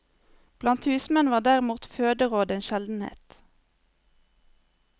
Blant husmenn var derimot føderåd en sjeldenhet.